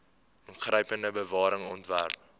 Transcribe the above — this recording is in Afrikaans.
ingrypende bewaring ontwerp